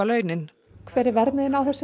laun hver er verðmiðinn á þessu